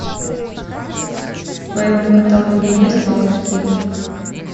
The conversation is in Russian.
в твоем каталоге есть малыш кид